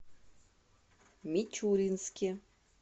мичуринске